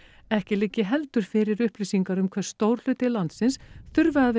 ekki liggi heldur fyrir upplýsingar um hve stór hluti landsins þurfi að